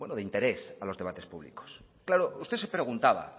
de interés a los debates públicos claro usted se preguntaba